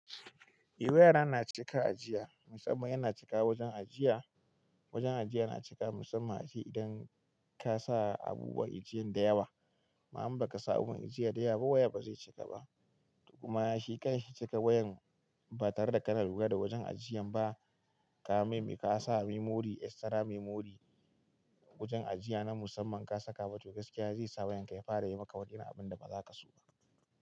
Eh waya yana cika ajiya, musamman yana cika wajen ajiya. Wajen ajiya yana cika musamman aji idan ka sa abubuwan ajiyan da yawa. Ma'am, ba ka sa abubuwan ajiya da yawa ba, waya ba zai cika ba. Duk kuma shekar shekar wayan ba tare da ka na ruga da wajen ajiyan ba, ka maimai ka sa memory extra memory wajen ajiya na musamman ka saka batiri gaskiya zai sa wayanka ya fara yi maka waɗannan abun da ba za ka so ba.